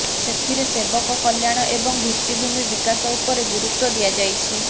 ସେଥିରେ ସେବକ କଲ୍ୟାଣ ଏବଂ ଭିତ୍ତିଭୂମି ବିକାଶ ଉପରେ ଗୁରୁତ୍ୱ ଦିଆଯାଇଛି